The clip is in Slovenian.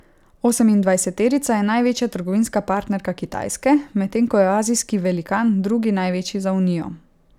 Osemindvajseterica je največja trgovinska partnerka Kitajske, medtem ko je azijski velikan drugi največji za unijo.